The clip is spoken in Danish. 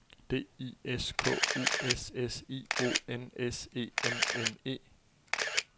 D I S K U S S I O N S E M N E